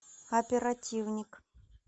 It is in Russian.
оперативник